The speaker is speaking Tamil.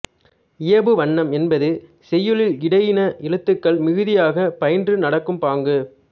இயைபு வண்ணம் என்பது செய்யுளில் இடையின எழுத்துக்கள் மிகுதியாகப் பயின்று நடக்கும் பாங்கு